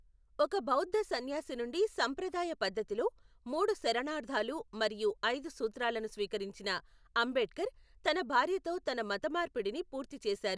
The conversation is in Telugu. ఒక బౌద్ధ సన్యాసి నుండి సంప్రదాయ పద్ధతిలో మూడు శరణార్ధాలు మరియు ఐదు సూత్రాలను స్వీకరించిన అంబేడ్కర్ తన భార్యతో తన మతమార్పిడిని పూర్తి చేశారు.